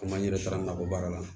Komi an yɛrɛ taara nakɔ baara la